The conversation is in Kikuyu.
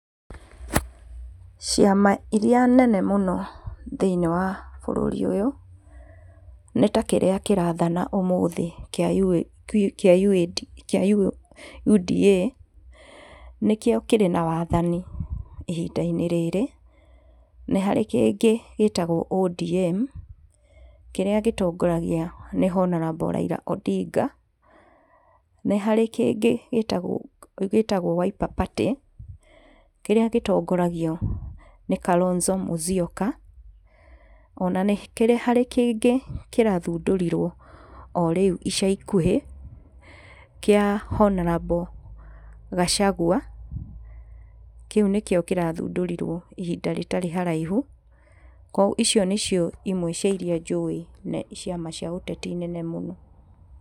Ciama iria nene mũno thĩiniĩ wa bũrũri ũyũ, nĩ ta kĩrĩa kĩrathana ũmũthĩ kĩa UDA, nĩkĩo kĩrĩ na wathani ihindainĩ rĩrĩ, nĩ harĩ kĩngĩ gĩtagwo ODM, kĩrĩa gĩtongoragio nĩ honarable Raila Odinga, nĩharĩ kĩngĩ gĩtagwo gĩtagwo Wiper Party, kĩrĩa gĩtongoragio nĩ Kalonzo Musyoka, ona nĩ harĩ kĩngĩ kĩrathundũrirwo o rĩu ica ikuhĩ, kĩa Honarable Gacagua, kĩu nĩkio kĩrathundũrirwo ihinda rĩtarĩ haraihu, icio nĩcio imwe cia iria njũĩ na ciama cia ũteti nene mũno.